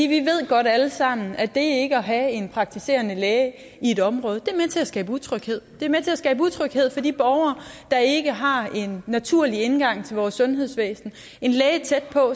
vi ved godt alle sammen at det ikke at have en praktiserende læge i et område er med til at skabe utryghed det er med til at skabe utryghed for de borgere der ikke har en naturlig indgang til vores sundhedsvæsen en læge tæt på